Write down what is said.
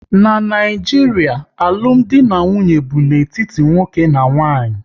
N'Naijiria, alụmdi na nwunye bụ n'etiti nwoke na nwaanyị